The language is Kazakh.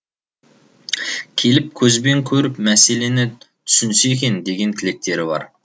келіп көзбен көріп мәселені түсінсе екен деген тілектері бар